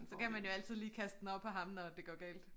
Så kan man jo altid lige kaste den over på ham når det går galt